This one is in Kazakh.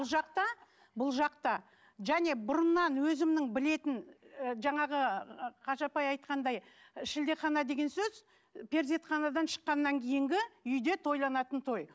бұл жақта бұл жақта және бұрыннан өзімнің білетін ы жаңағы қажа апай айтқандай і шілдехана деген сөз перзентханадан шыққаннан кейінгі үйде тойланатын той